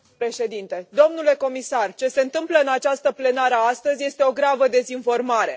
Domnule președinte, domnule comisar, ce se întâmplă în această plenară astăzi este o gravă dezinformare.